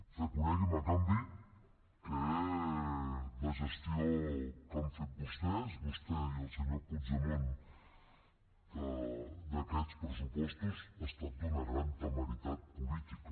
reconegui’m a canvi que la gestió que han fet vostès vostè i el senyor puigdemont d’aquests pressupostos ha estat d’una gran temeritat política